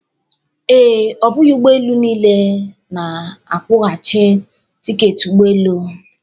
Ee, ọ bụghị ụgbọ elu niile na-akwụghachi tiketi ụgbọ elu.